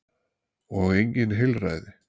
Og engin heilræði.